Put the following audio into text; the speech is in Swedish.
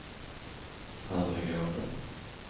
föregående